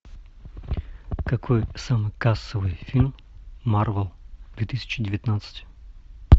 какой самый кассовый фильм марвел две тысячи девятнадцать